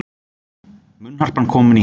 Munnharpan komin heim